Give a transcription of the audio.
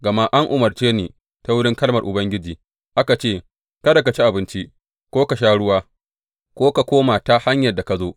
Gama an umarce ni ta wurin kalmar Ubangiji, aka ce, Kada ka ci abinci, ko ka sha ruwa, ko ka koma ta hanyar da ka zo.’